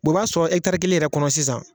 B'ɔ b'a sɔrɔ kelen yɛrɛ kɔnɔ sisan.